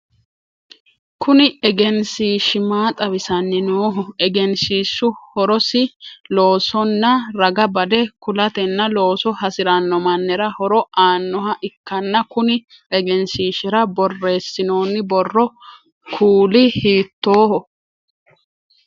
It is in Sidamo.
Kunni egenshiishi maa xawisanni Nooho? Egenshiishu horosi loosonna raga bade kulatenna looso hasirano mannirano horo aanoha ikanna kunni egenshiishira boreesinnonni borro kuuli hiittooho?